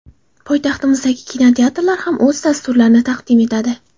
Poytaxtimizdagi kinoteatrlar ham o‘z dasturlarini taqdim etadi.